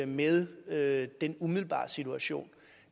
med med den umiddelbare situation